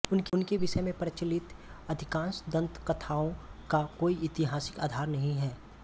उनके विषय में प्रचलित अधिकांश दंतकथाओं का कोई ऐतिहासिक आधार नहीं है